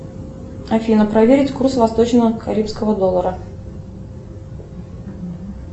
афина проверить курс восточно карибского доллара